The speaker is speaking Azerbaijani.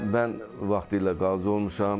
Mən vaxtilə qazi olmuşam.